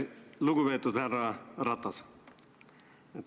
Lugupeetud härra Ratas!